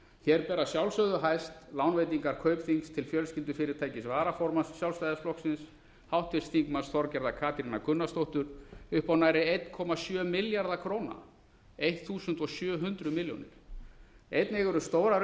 hér ber að sjálfsögðu hæst lánveitingar kaupþings til fjölskyldufyrirtækis varaformanns sjálfstæðisflokksins háttvirtur þingmaður þorgerðar katrínar gunnarsdóttur upp á nærri einum komma sjö milljarða króna eitt þúsund og sjö hundruð milljónir efni eru stórar